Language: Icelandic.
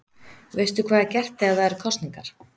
Veistu hvað er gert þegar það eru kosningar?